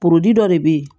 dɔ de bɛ yen